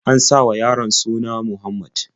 An sa wa yaron suna Muhammad.